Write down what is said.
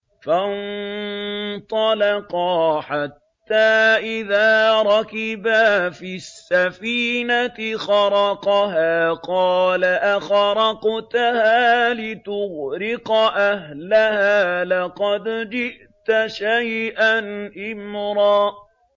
فَانطَلَقَا حَتَّىٰ إِذَا رَكِبَا فِي السَّفِينَةِ خَرَقَهَا ۖ قَالَ أَخَرَقْتَهَا لِتُغْرِقَ أَهْلَهَا لَقَدْ جِئْتَ شَيْئًا إِمْرًا